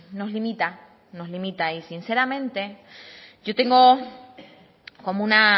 nos limita nos limita y sinceramente yo tengo como una